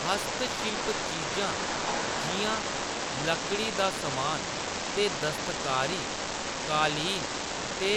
हस्तशिल्प चीजां जिʼयां लकड़ी दा समान ते दस्तकारी, कालीन ते